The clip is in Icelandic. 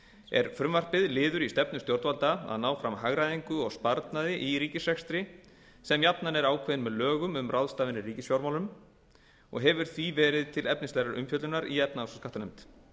er frumvarpið liður í stefnu stjórnvalda að ná fram hagræðingu og sparnaði í ríkisrekstri sem jafnan er ákveðinn með lögum um ráðstafanir í ríkisfjármálum og hefur því verið til efnislegrar umfjöllunar í efnahags og skattanefnd